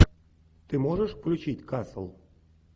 ты можешь включить касл